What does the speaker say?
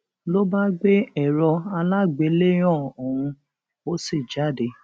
ló bá gbé èrò alágbèéléàn òun ó sì jáde